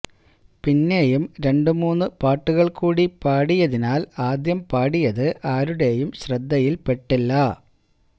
പിന്നേയും രണ്ടു മൂന്ന് പാട്ടുകള് കൂടി പാടിയതിനാല് ആദ്യം പാടിയത് ആരുടേയും ശ്രദ്ധയില് പെട്ടില്ല